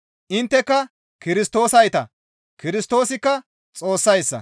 Intteka Kirstoosayta; Kirstoosikka Xoossayssa.